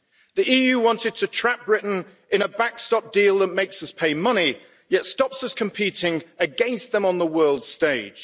The EU wanted to trap Britain in a backstop deal that makes us pay money, yet stops us competing against them on the world stage.